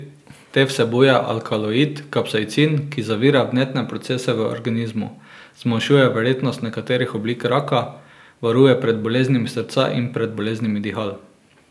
Te vsebujejo alkaloid kapsaicin, ki zavira vnetne procese v organizmu, zmanjšuje verjetnost nekaterih oblik raka, varuje pred boleznimi srca in pred boleznimi dihal.